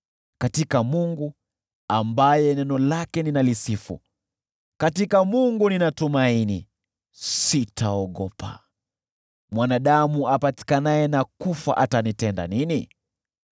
Katika Mungu, ambaye neno lake ninalisifu, katika Mungu ninatumaini; sitaogopa. Mwanadamu apatikanaye na kufa, atanitenda nini?